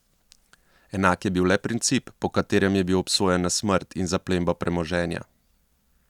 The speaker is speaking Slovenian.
Enak je bil le princip, po katerem je bil obsojen na smrt in zaplembo premoženja.